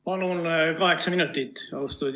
Palun kaheksa minutit!